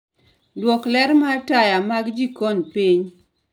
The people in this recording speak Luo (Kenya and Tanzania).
duoko ler mar taya mag jikon piny